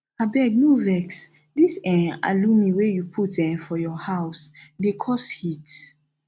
abeg no vex dis um alumi wey you put um for your house dey cause heat